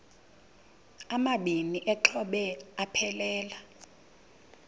amabini exhobe aphelela